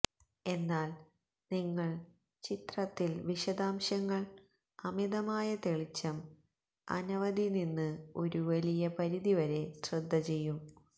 എന്നാൽ നിങ്ങൾ ചിത്രത്തിൽ വിശദാംശങ്ങൾ അമിതമായ തെളിച്ചം അനവധി നിന്ന് ഒരു വലിയ പരിധി വരെ ശ്രദ്ധ ചെയ്യും